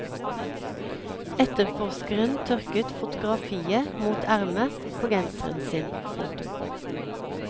Etterforskeren tørket fotografiet mot ermet på genseren sin. punktum